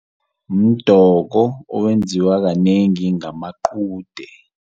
Mdoko owenziwa kanengi ngamaqude.